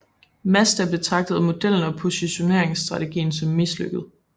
Mazda betragtede modellen og positioneringsstrategien som mislykket